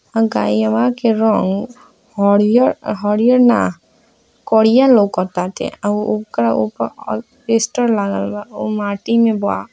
अ गयवा के रंग हरियर हरियर ना करिया लौका टाटे | अ ओकरा ऊपर प्लास्टर लागल बा अ उ माटी में बा |